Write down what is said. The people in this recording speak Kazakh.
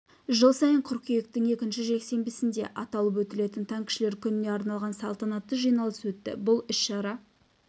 жыл сайын қыркүйектің екінші жексенбісінде аталып өтілетін танкішілер күніне арналған салтанатты жиналыс өтті бұл іс-шара